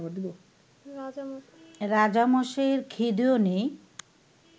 রাজামশাইয়ের খিদেও নেই